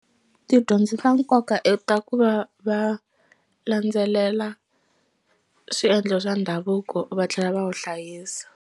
Tidyondzo ta nkoka i ta ku va va landzelela swiendlo swa ndhavuko va tlhela va wu hlayisa.